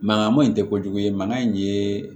Mankan ma in tɛ kojugu ye mankan in ye